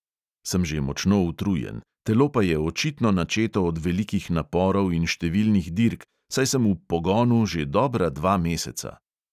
Sem že močno utrujen, telo pa je očitno načeto od velikih naporov in številnih dirk, saj sem "v pogonu" že dobra dva meseca.